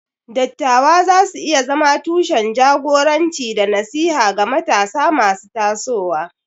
Dattawa za su iya zama tushen jagoranci da nasiha ga matasa masu tasowa.